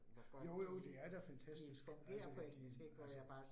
Jo jo, det er da fantastisk, altså de altså